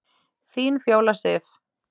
Þín Fjóla Sif.